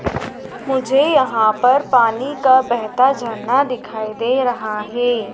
मुझे यहां पर पानी का बेहता झरना दिखाई दे रहा हैं।